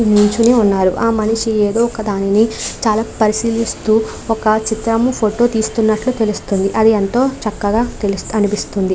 నించుని ఉన్నారు. ఆ మనిషి ఏదో ఒక దాన్ని చాలా పరిశీలిస్తూ ఒక చిత్రము ఫోటో తీస్తున్నట్లు తెలుస్తుంది. అది ఎంతో చక్కగా తెలుస్తా అనిపిస్తుంది.